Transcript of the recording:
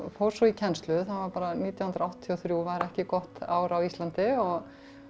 fór svo í kennslu nítján hundruð áttatíu og þrjú var ekki gott ár á Íslandi og